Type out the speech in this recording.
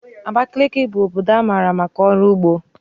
Abakaliki bụ obodo mara maka ọrụ ugbo